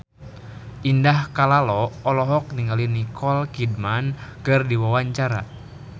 Indah Kalalo olohok ningali Nicole Kidman keur diwawancara